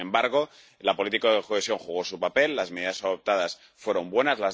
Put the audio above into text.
Sin embargo, la política de cohesión jugó su papel las medidas adoptadas fueron buenas